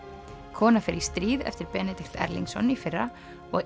kona fer í stríð eftir Benedikt Erlingsson í fyrra og